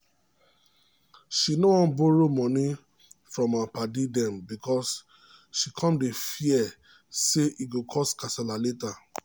she no wan borrow money from her padi dem because she cum dey fear say e go cause kasala later.